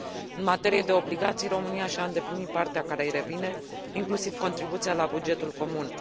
În materie de obligații, România și a îndeplinit partea care îi revine, inclusiv contribuția la bugetul comun.